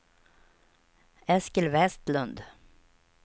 Eskil Westlund